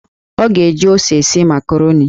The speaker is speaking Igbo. Ọ ga-eji ose esi makaroni.